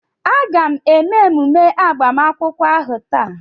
A ga-eme emume agbamakwụkwọ ahu taa?